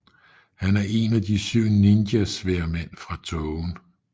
Han er en af De syv ninjasværdmænd fra tågen